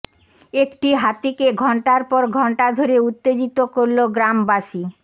একটি হাতিকে ঘণ্টার পর ঘণ্টা ধরে উত্তেজিত করল গ্রামবাসী